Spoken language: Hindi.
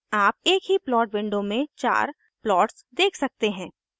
आप एक ही प्लॉट विंडो में 4 प्लॉट्स देख सकते हैं